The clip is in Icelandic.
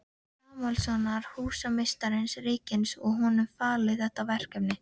Samúelssonar, húsameistara ríkisins, og honum falið þetta verkefni.